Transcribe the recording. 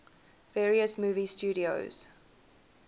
various movie studios